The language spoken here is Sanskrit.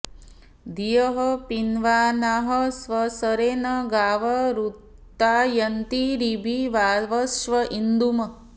धियः॑ पिन्वा॒नाः स्वस॑रे॒ न गाव॑ ऋता॒यन्ती॑र॒भि वा॑वश्र॒ इन्दु॑म्